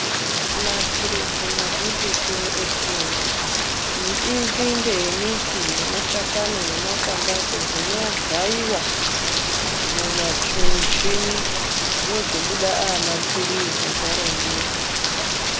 Mapirizi mazhinjitu etinomwa inzinde yembuti nemashakani nemakwati acho zvinogaiwa mumuchini zvozobuda ava mapirizi zvarongeka.